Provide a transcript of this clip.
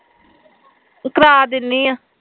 ਕਰਾ ਦਿਨੀ ਆ